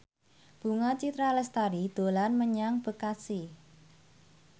Bunga Citra Lestari dolan menyang Bekasi